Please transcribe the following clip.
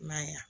I m'a ye a